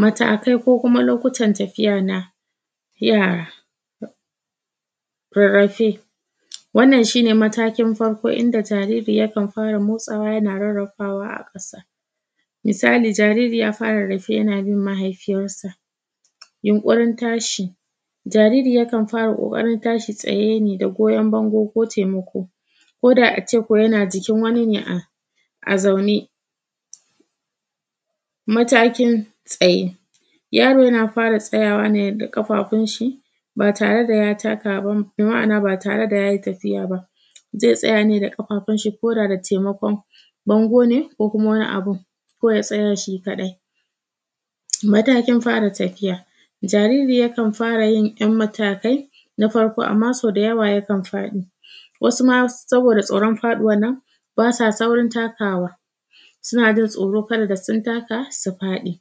Matakai ko kuma lokutan tafiya na yara Rarrafe, wannan shi ne matakin farko inda jariri yakan fara motsawa yana rarrafawa a ƙasa Misali, jariri yaa fara rarrafe yana bin mahaifiyarsa. Yunƙurin tashi, jariri yakan fara ƙoƙarin tashi tsaye ne da goyon bango ko taimako ko da a ce ko yana jikin wani ne a; a zaune Matakin tsaye, yaro yana fara tsayawa ne da ƙafafunshi, ba tare da ya taka ba, bi ma’ana ba tare da ya yi tafiya ba Zai tsaya ne da ƙafafunshi ko da da taimakon bango ne ko kuma wani abun, ko ya tsaya shi kaɗai Matakin fara tafiya, jariri yakan fara yin ‘yan matakai na farko, amma so da yawa yakan faɗi wasu ma saboda tsoron faɗuwan nan, ba sa saurin takawa, suna jin tsoro kada da sun taka su faɗi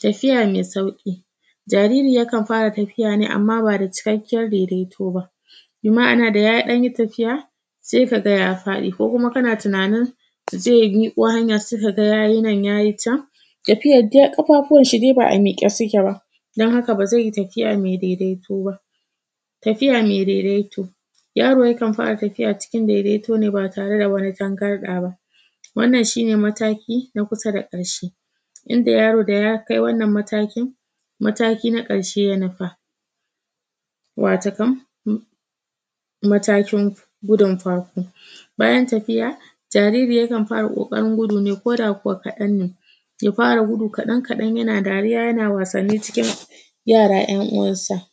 Tafiya me sauƙi, jariri yakan fara tafiya ne amma ba da cikakkiyar daidaito ba. Bi ma’ana da ya ɗan yi tafiya, se ka ga ya faɗi ko kuma kana tunanin ze miƙo hanya sai ka ga ya yi nan, ya yi can, tafiyar de ƙafafuwan shi de ba a miƙe suke ba, don haka ba zai yi tafiya me daidaito ba. Tafiya me daidaito, yaro yakan fara tafiya cikin daidaito ne ba tare da wani tangarɗa ba, wannan shi ne mataki na kusa da ƙarshe, inda yaro da ya kai wannan mataki, mataki na ƙarshe ya nufa, watakon uhm. Matakin gudun farko, bayan tafiya, jariri yakan fara ƙoƙarin gudu ne ko da kuwa kaɗan ne ya fara gudu kaɗan-kaɗan yana dariya yana wasanni cikin yara ‘yan uwansa.